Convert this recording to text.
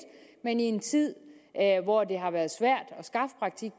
men i en tid hvor det har været svært